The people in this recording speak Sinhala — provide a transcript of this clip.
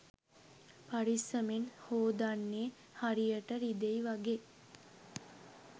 පරිස්සමෙන් හෝදන්නේ හරියට රිදෙයි වගෙ